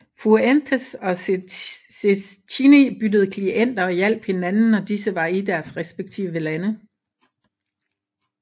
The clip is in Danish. Fuentes og Cecchini byttede klienter og hjalp hinandens når disse var i deres respektive lande